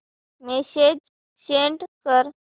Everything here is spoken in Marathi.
मेसेज सेंड कर